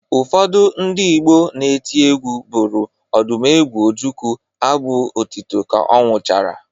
Ụfọdụ ndị Igbo na-eti egwu bụrụ Odumegwu Ojukwu abụ otito ka ọ nwụchara